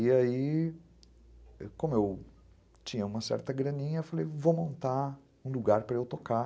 E aí, como eu tinha uma certa graninha, eu falei, vou montar um lugar para eu tocar.